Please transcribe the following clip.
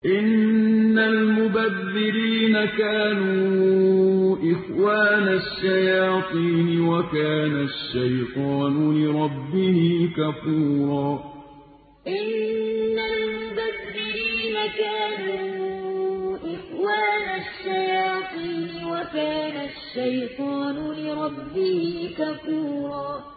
إِنَّ الْمُبَذِّرِينَ كَانُوا إِخْوَانَ الشَّيَاطِينِ ۖ وَكَانَ الشَّيْطَانُ لِرَبِّهِ كَفُورًا إِنَّ الْمُبَذِّرِينَ كَانُوا إِخْوَانَ الشَّيَاطِينِ ۖ وَكَانَ الشَّيْطَانُ لِرَبِّهِ كَفُورًا